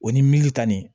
O ni milita ni